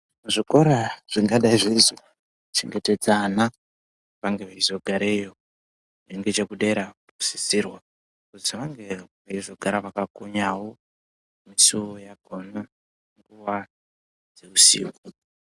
Zvikora zvingadai zveizochengetedza ana vange veizogarareyi ngechekudera vanokurudzirwa kuti vange veizogara vakakonya musiwo panguwa dzeusiku.